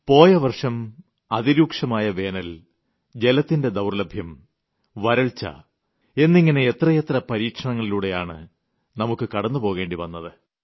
പോയ വർഷം അതിരൂക്ഷമായ വേനൽ ജലത്തിന്റെ ദൌർല്ലഭ്യം വരൾച്ച എന്നിങ്ങനെ എത്രയെത്ര പരീക്ഷണങ്ങളിലൂടെയാണ് നമുക്ക് കടന്നുപോകേണ്ടി വന്നത്